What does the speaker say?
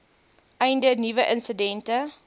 einde nuwe insidente